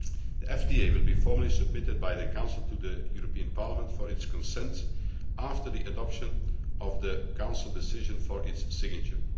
The FTA will be formally submitted by the Council to the European Parliament for its consent after the adoption of the Council decision for its signature.